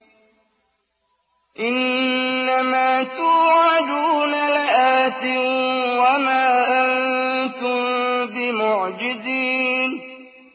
إِنَّ مَا تُوعَدُونَ لَآتٍ ۖ وَمَا أَنتُم بِمُعْجِزِينَ